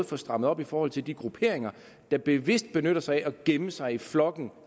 få strammet op i forhold til de grupperinger der bevidst benytter sig af at gemme sig i flokken